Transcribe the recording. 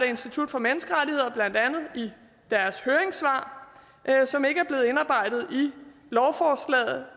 institut for menneskerettigheder blandt andet i deres høringssvar som ikke er blevet indarbejdet i lovforslaget